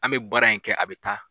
An be baara in kɛ a be taa